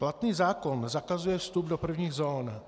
Platný zákon zakazuje vstup do prvních zón.